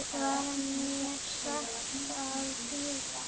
Var mér sagt að bíða.